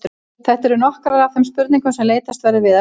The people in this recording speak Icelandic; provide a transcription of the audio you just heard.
Þetta eru nokkrar af þeim spurningum sem leitast verður við að svara.